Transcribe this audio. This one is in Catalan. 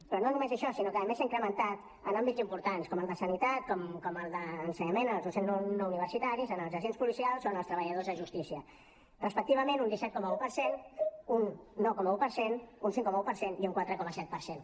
però no només això sinó que a més s’ha incrementat en àmbits importants com el de sanitat com el d’ensenyament en els docents no universitaris en els agents policials o en els treballadors de justícia respectivament un disset coma un per cent un nou coma un per cent un cinc coma un per cent i un quatre coma set per cent